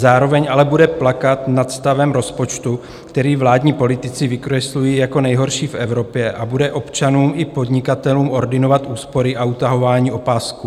Zároveň ale bude plakat nad stavem rozpočtu, který vládní politici vykreslují jako nejhorší v Evropě, a bude občanům i podnikatelům ordinovat úspory a utahování opasků.